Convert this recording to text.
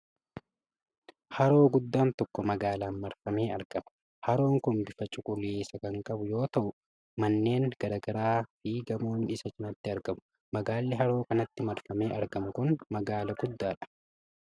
Haroo guddaan tokko magaalaan marfamee argama. Haroon kun bifa cuquliisa kan qabu yoo ta'u manneen garaa garaa fi gamoon isa cinaatti argamu. Magaalli haroo kanatti marfamee argamu kun magaala guddaadha.